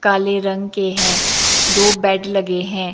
काले रंग के हैं दो बेड लगे हैं।